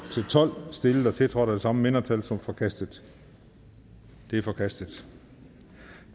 tolv stillet og tiltrådt af de samme mindretal som forkastet de er forkastet